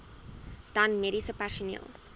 dan mediese personeel